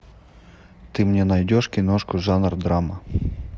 ты мне найдешь киношку жанр драма